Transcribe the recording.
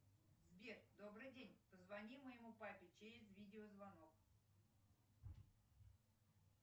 сбер добрый день позвони моему папе через видеозвонок